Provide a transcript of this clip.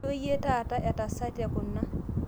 Ijo iyie taata etasete kuna